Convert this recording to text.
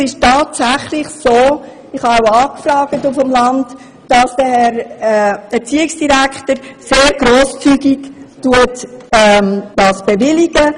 Es ist tatsächlich so, dass der Herr Erziehungsdirektor die Basisstufen dort sehr grosszügig bewilligt.